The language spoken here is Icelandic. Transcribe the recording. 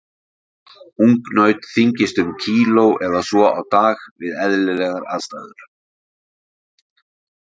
Ungnaut þyngist um kíló eða svo á dag við eðlilegar aðstæður.